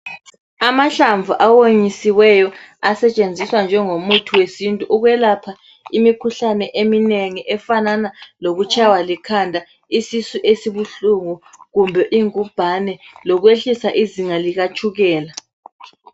Amahlamvu awonyisiweyo asetshenziswa njengomuthi wesintu ukwelapha imikhuhlane eminengi efanana lokutshaywa likhanda, isisu esibuhlungu kumbe ingubhane lokwehlisa izinga likatshukela.